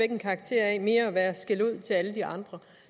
en karakter af mere at være skældud til alle de andre